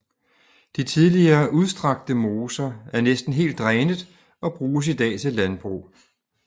De tidligere udstrakte moser er næsten helt drænet og bruges i dag til landbrug